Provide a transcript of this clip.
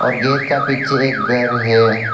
और गेट का पीछे एक घर है।